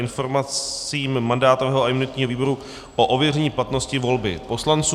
Informace mandátového a imunitního výboru o ověření platnosti volby poslanců